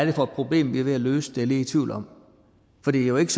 er for et problem vi er ved at løse det lidt i tvivl om for det er jo ikke